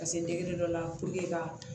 Ka se dɔ la ka